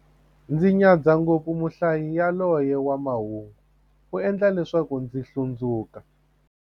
Ndzi nyadza ngopfu muhlayi yaloye wa mahungu, u endla leswaku ndzi hlundzuka.